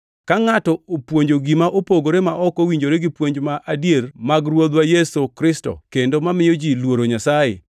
Ka ngʼato opuonjo gima opogore ma ok owinjore gi puonj ma adier mag Ruodhwa Yesu Kristo kendo mamiyo ji luoro Nyasaye,